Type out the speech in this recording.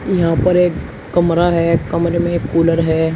यहां पर एक कमरा है कमरे में एक कूलर है।